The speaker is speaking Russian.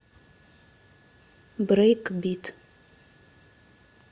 брейкбит